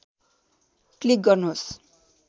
click गर्नुहोस्